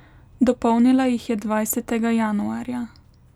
Dopolnila jih je dvajsetega januarja.